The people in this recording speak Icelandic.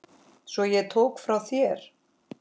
Sem ég tók frá þér.